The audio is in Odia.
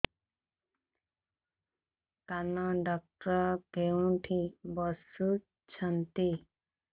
କାନ ଡକ୍ଟର କୋଉଠି ବସୁଛନ୍ତି